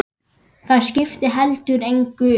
Það skipti heldur engu.